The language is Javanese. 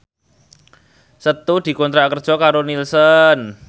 Setu dikontrak kerja karo Nielsen